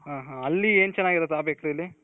ಹಾ ಹಾ ಅಲ್ಲಿ ಏನ್ ಚೆನಾಗಿರುತ್ತಲ್ಲಿ ಆ bakery ಅಲ್ಲಿ